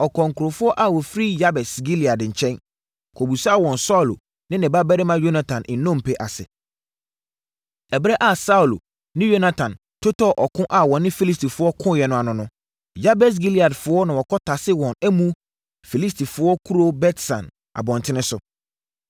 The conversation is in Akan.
ɔkɔɔ nkurɔfoɔ a wɔfiri Yabes Gilead nkyɛn, kɔbisaa wɔn Saulo ne ne babarima Yonatan nnompe ase. (Ɛberɛ a Saulo ne Yonatan totɔɔ ɔko a wɔne Filistifoɔ koeɛ no ano no, Yabes Gileadfoɔ na wɔkɔtasee wɔn amu Filistifoɔ kuro Bet-San abɔntene so.)